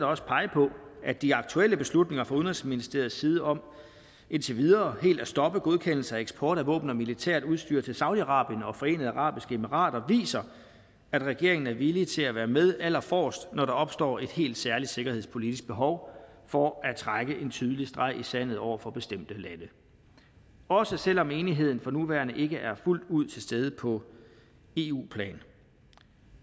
også pege på at de aktuelle beslutninger fra udenrigsministeriets side om indtil videre helt at stoppe godkendelse af eksport af våben og militært udstyr til saudi arabien og forenede arabiske emirater viser at regeringen er villig til at være med aller forrest når der opstår et helt særligt sikkerhedspolitisk behov for at trække en tydelig streg i sandet over for bestemte lande også selv om enigheden for nuværende ikke er fuldt ud til stede på eu plan